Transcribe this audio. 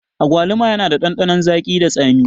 Agwaluma yana da ɗanɗanon zagi da tsami